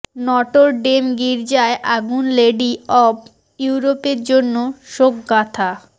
Notre Dame গির্জায় আগুন lady of ইউরোপের জন্য শোকগাথা